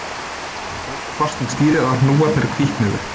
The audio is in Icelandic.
Hann tók svo fast um stýrið að hnúarnir hvítnuðu